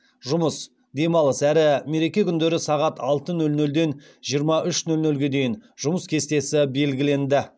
жұмыс демалыс әрі мереке күндері сағат алты нөл нөлдан жиырма үш нөл нөлге дейін жұмыс кестесі белгіленді